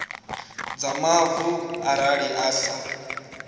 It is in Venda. dza mavu arali i sa